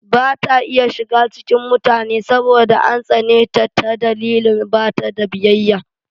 Ba ta iya shiga cikin mutane saboda an tsane ta dalilin bata da biyayya.